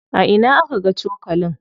A ina aka ga cokalin?